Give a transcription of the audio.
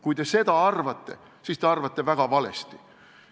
Kui te seda arvate, siis te arvate väga valesti.